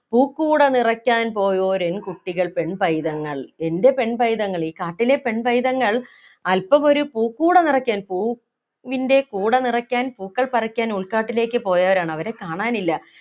പൂക്കൂട നിറയ്ക്കാൻ പോയോരെൻകുട്ടികൾ പെൺപൈതങ്ങൾ എൻ്റെ പെൺപൈതങ്ങൾ ഈ കാട്ടിലെ പെൺപൈതങ്ങൾ അല്പം ഒരു പൂക്കൂട നിറയ്ക്കാൻ പൂവിൻ്റെ കൂട നിറയ്ക്കാൻ പൂക്കൾ പറിക്കാൻ ഉൾക്കാട്ടിലേക്ക് പോയവരാണ് അവരെ കാണാനില്ല